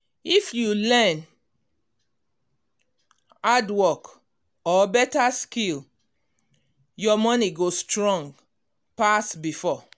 if you learn hardwork or beta skill your money go strong pass before.